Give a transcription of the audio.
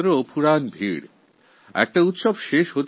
এখানে বিভিন্ন প্রকার উৎসব লেগেই থাকে